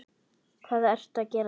Hvað ertu að gera hérna?